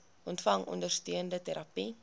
ontvang ondersteunende terapie